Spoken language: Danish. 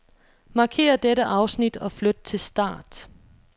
Markér dette afsnit og flyt til start.